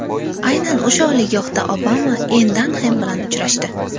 Aynan o‘sha oliygohda Obama Enn Danxem bilan uchrashdi.